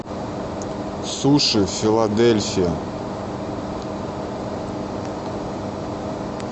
суши филадельфия